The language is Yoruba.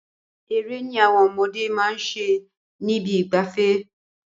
Eré ni àwọn ọmọdé máa ṣe nibi ìgbafẹ́.